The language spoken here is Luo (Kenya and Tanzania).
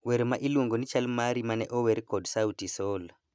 Wer ma iluongo ni chal mari mane ower kod Sauti Sol